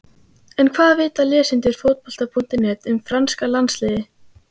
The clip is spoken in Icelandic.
En hvað vita lesendur Fótbolta.net um franska landsliðið?